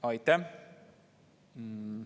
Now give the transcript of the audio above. Aitäh!